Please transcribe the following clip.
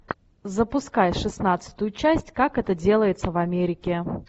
запускай шестнадцатую часть как это делается в америке